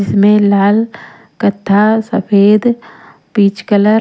इसमें लाल कथा सफेद पीच कलर --